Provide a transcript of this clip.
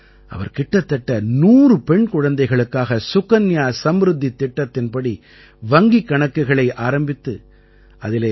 அவர் கிட்டத்தட்ட 100 பெண் குழந்தைகளுக்காக சுகன்யா சம்ருத்தித் திட்டத்தின்படி வங்கிக் கணக்குகளை ஆரம்பித்து அதிலே ரூ